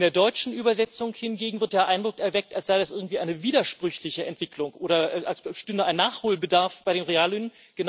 In der deutschen Übersetzung hingegen wird der Eindruck erweckt, als sei das irgendwie eine widersprüchliche Entwicklung oder als bestünde ein Nachholbedarf bei den Reallöhnen.